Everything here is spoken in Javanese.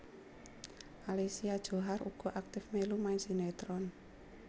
Alicia Djohar uga aktif mèlu main sinetron